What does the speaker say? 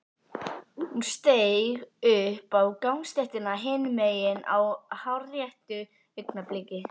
Hún steig upp á gangstéttina hinum megin á hárréttu augnabliki.